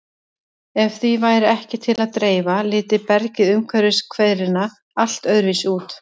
Ef því væri ekki til að dreifa liti bergið umhverfis hverina allt öðruvísi út.